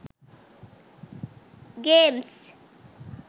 games